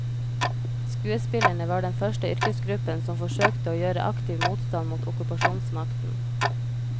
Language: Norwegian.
Skuespillerne var den første yrkesgruppen som forsøkte å gjøre aktiv motstand mot okkupasjonsmakten.